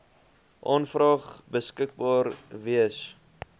aanvraag beskikbaar wees